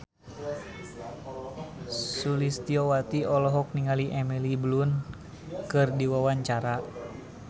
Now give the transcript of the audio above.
Sulistyowati olohok ningali Emily Blunt keur diwawancara